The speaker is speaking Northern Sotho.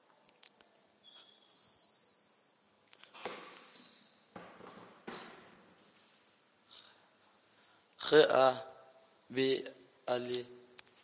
ge a be a le